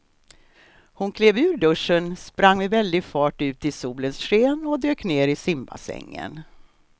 Hon klev ur duschen, sprang med väldig fart ut i solens sken och dök ner i simbassängen.